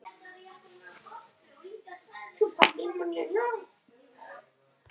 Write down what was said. Sævar hafði komist yfir þau á sama hátt og áður.